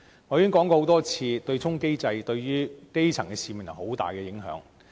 我已經多次說過，對沖機制對於基層市民有很大影響。